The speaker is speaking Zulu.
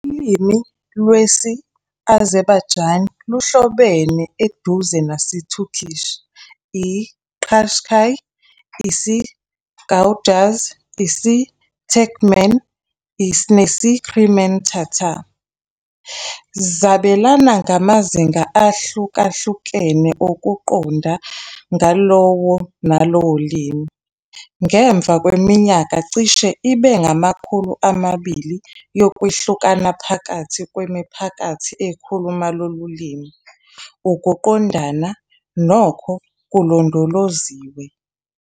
Ulimi lwesi-Azerbaijani luhlobene eduze nesi-Turkish, i-Qashqai, isiGagauz, isiTurkmen nesi-Crimean Tatar, zabelana ngamazinga ahlukahlukene okuqonda ngokuqondana ngalowo nalowo limi. Ngemva kweminyaka ecishe ibe ngamakhulu amabili yokwehlukana phakathi kwemiphakathi ekhuluma lolu limi, ukuqondana, nokho, kulondoloziwe.